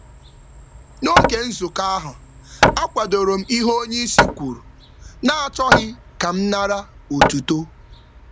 N’oge nzukọ, m kwadoro um echiche oga n’ebughị ụzọ um were otuto maka echiche ahụ. um